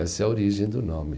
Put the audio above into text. Essa é a origem do nome.